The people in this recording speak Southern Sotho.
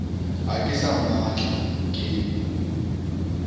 ha ke sa mmatla ke